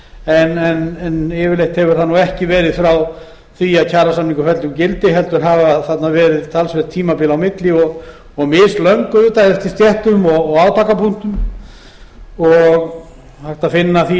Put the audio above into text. fyrir sig en yfirleitt hefur það ekki verið frá því að kjarasamningur féll úr gildi heldur hafa þarna verið talsverð tímabil á milli og mislöng auðvitað eftir stéttum og átakapunktum og hægt að finna því